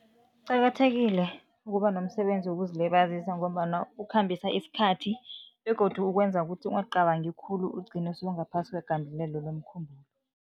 Kuqakathekile ukuba nomsebenzi wokuzilibazisa ngombana ukhambisa isikhathi begodu ukwenza ukuthi ungacabangi khulu, ugcine sewungaphasi kwegandelelo lomkhumbulo.